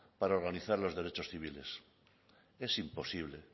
para organizar los derechos civiles es imposible